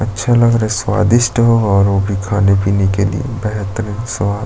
अच्छा लग रहा है स्वादिष्ट हो और वो भी खाने पीने के लिए बेहतरीन स्वाद --